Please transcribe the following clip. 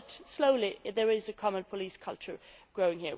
But slowly there is a common police culture growing.